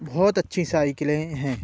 बोहोत अच्छी साइकिलें हैं।